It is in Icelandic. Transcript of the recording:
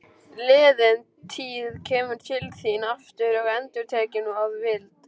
Liðin tíð kemur til þín aftur og endurtekin að vild.